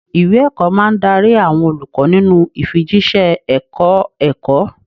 Ìwé ẹ̀kọ́ máa ń darí àwọn olùkọ́ nínú ìfijíṣẹ́ ẹ̀kọ́-ẹ̀kọ́.